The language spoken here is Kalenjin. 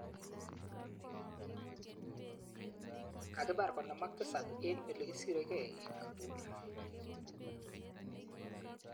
Kakipar 57 eng olekisiregei ,Kabul